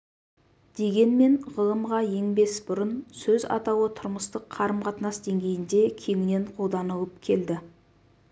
дегенмен ғылымға енбес бұрын сөз атауы тұрмыстық қарым-қатынас деңгейінде кеңінен қолданылып келді